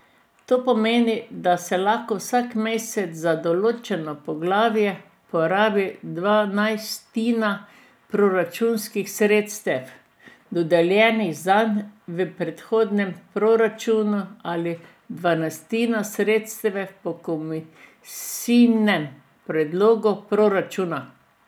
To pomeni, da se lahko vsak mesec za določeno poglavje porabi dvanajstina proračunskih sredstev, dodeljenih zanj v predhodnem proračunu, ali dvanajstina sredstev po komisijinem predlogu proračuna.